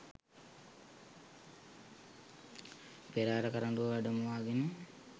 පෙරහර කරඬුව වැඩමවාගෙන